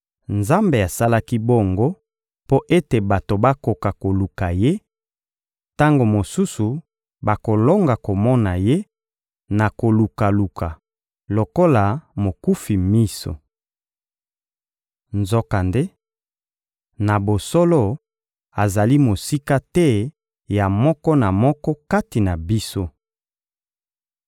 Nzambe asalaki bongo mpo ete bato bakoka koluka Ye, tango mosusu bakolonga komona Ye na kolukaluka lokola mokufi miso. Nzokande, na bosolo, azali mosika te ya moko na moko kati na biso.